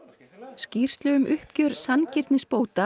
skýrslu um uppgjör sanngirnisbóta